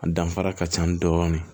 A danfara ka ca dɔɔnin